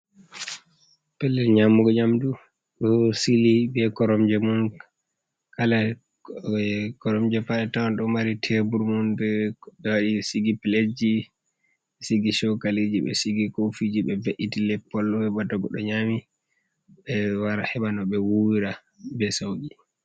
Pellel nyamugo nyamɗu ɗo sili be koromje mun. Kala koromje pat a tawn ɗo mari tebur mum. Bo be wari be sigi piletji, be sigi chokaliji, be sigi kofiji, be ve’iti leppol heba ta goɗɗo nyami. Be wara heba no be wuwira be sauqi.